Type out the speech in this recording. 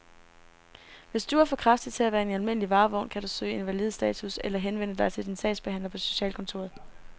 Hvis du er for kraftig til at være i en almindelig varevogn, kan du kan søge invalidestatus eller henvende dig til din sagsbehandler på socialkontoret.